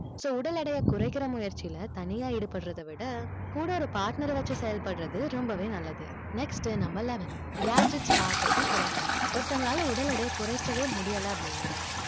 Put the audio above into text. so உடல் எடையை குறைக்கிற முயற்சியில தனியா ஈடுபடுறதை விட கூட ஒரு partner அ வச்சு செயல்படுறது ரொம்பவே நல்லது next உ number eleven gadgets பாக்குறதை குறைக்கணும் ஒருத்தங்களால உடல் எடையை குறைக்கவே முடியலை அப்படின்னா